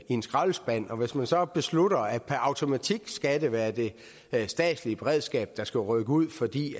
en skraldespand og hvis man så beslutter at det per automatik skal være det statslige beredskab der skal rykke ud fordi